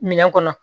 Minɛn kɔnɔ